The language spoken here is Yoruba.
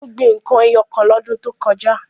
Ó gbin n kan ẹyọ kan lọ́dún tó kọjá.